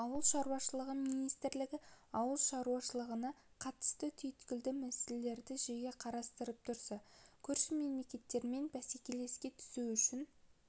ауыл шаруашылығы министрлігі ауыл шаруашылығына қатысты түйіткілді мәселелерді жиі қарастырып тұрса көрші мемлекеттермен бәсекелестікке түсу үшін